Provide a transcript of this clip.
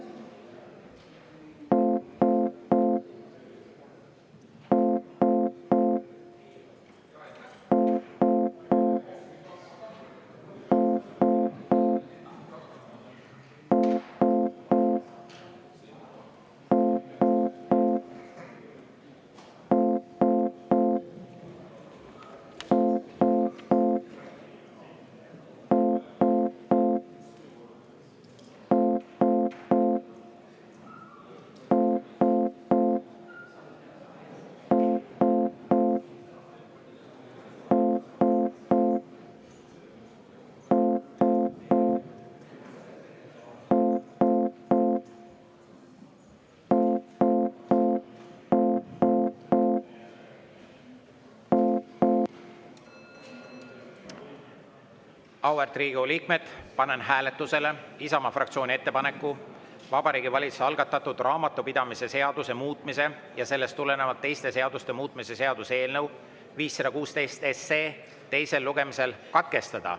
Auväärt Riigikogu liikmed, panen hääletusele Isamaa fraktsiooni ettepaneku Vabariigi Valitsuse algatatud raamatupidamise seaduse muutmise ja sellest tulenevalt teiste seaduste muutmise seaduse eelnõu 516 teine lugemine katkestada.